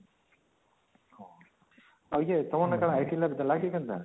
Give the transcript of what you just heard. ଆଉ ୟେ ତମର କଣ IT